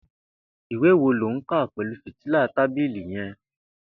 Ìwé wó ló n kà pẹlu fítìlá tàbílí yèn